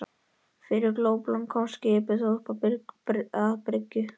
Fyrir glópalán komst skipið þó upp að bryggju.